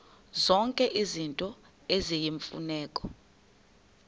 zonke izinto eziyimfuneko